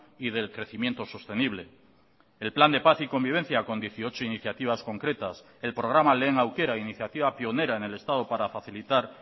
y del crecimiento sostenible el plan de paz y convivencia con dieciocho iniciativas concretas el programa lehen aukera iniciativa pionera en el estado para facilitar